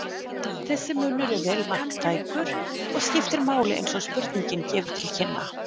Þessi munur er vel marktækur og skiptir máli eins og spurningin gefur til kynna.